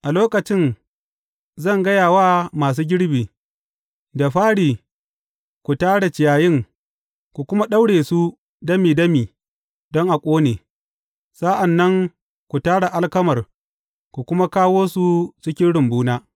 A lokacin zan gaya wa masu girbi, da fari ku tara ciyayin ku kuma daure su dami dami don a ƙone; sa’an nan ku tara alkamar ku kuma kawo su cikin rumbuna.’